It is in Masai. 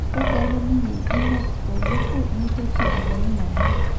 kegelu ninye imiet torbuku neitoki agelu nabo